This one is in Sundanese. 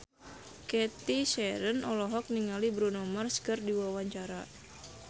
Cathy Sharon olohok ningali Bruno Mars keur diwawancara